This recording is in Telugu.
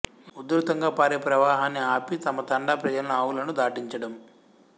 ఉదృతంగా పారే ప్రవాహాన్ని ఆపి తమ తండా ప్రజలను ఆవులను దాటించడం